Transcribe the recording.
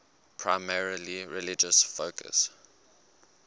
primarily religious focus